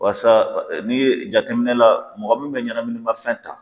Walasa ni ye jateminɛ la mɔgɔ min bɛ ɲɛnamininafɛn ta